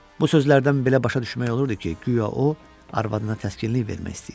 Bu sözlərdən belə başa düşmək olurdu ki, guya o, arvadına təskinlik vermək istəyir.